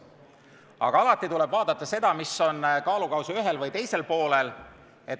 Aga alati tuleb vaadata seda, mis on ühel ja teisel kaalukausil.